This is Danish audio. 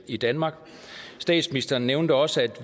i danmark statsministeren nævnte også